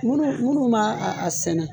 Munnu munnu b'a a a sɛnɛ